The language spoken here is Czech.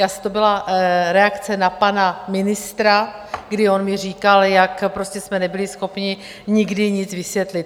To byla reakce na pana ministra, kdy on mi říkal, jak prostě jsme nebyli schopni nikdy nic vysvětlit.